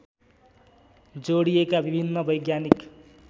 जोड़िएका विभिन्न वैज्ञानिक